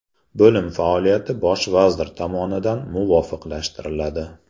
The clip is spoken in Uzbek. Bo‘lim faoliyati Bosh vazir tomonidan muvofiqlashtiriladi.